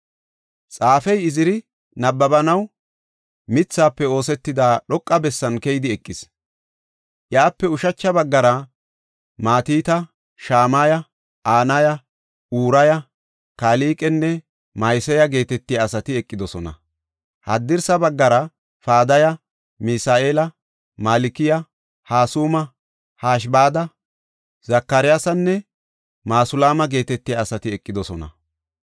Xaafey Iziri, nabbabanaw mithafe oosetida dhoqa bessan keyidi eqis. Iyape ushacha baggara Matita, Shamaya, Anaya, Uraya, Kalqenne Ma7iseya geetetiya asati eqidosona. Haddirsa baggara Padaya, Misa7eela, Malkiya, Hasuma, Hashibada, Zakariyasanne Masulaama geetetiya asati eqidosona.